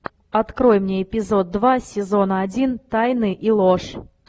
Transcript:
открой мне эпизод два сезона один тайны и ложь